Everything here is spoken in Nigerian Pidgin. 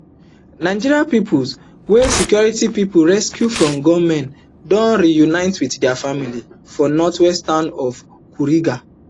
nigerian pupils wey security pipo rescue from gunmen don reunite wit dia families for northwestern town of kuriga